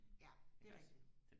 ja det er rigtigt